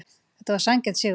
Þetta var sanngjarn sigur.